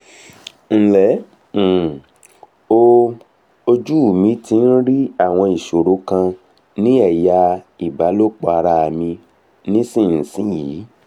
nle um o ojú mi ti ń rí àwọn ìṣòro kan ní eya ìbálòpọ̀ ara mi nísinsìnyí